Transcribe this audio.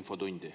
infotundi.